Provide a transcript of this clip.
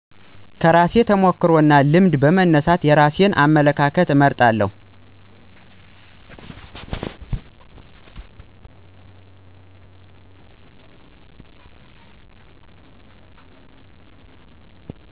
ከራሴ ተሞክሮ እና ልምድ በመነሳት የራሴን አመለካከት እመርጣለሁ